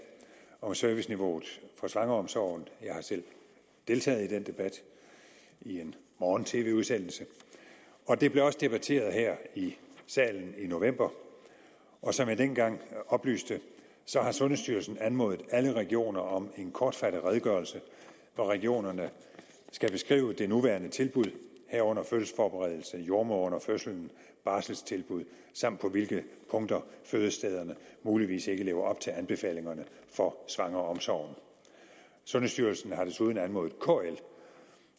om serviceniveauet for svangreomsorgen jeg har selv deltaget i den debat i en morgen tv udsendelse og det blev også debatteret her i salen i november og som jeg dengang oplyste har sundhedsstyrelsen anmodet alle regioner om en kortfattet redegørelse hvor regionerne skal beskrive det nuværende tilbud herunder fødselsforberedelse jordemoder under fødslen barselstilbud samt på hvilke punkter fødestederne muligvis ikke lever op til anbefalingerne for svangreomsorgen sundhedsstyrelsen har desuden anmodet kl